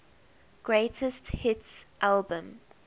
greatest hits album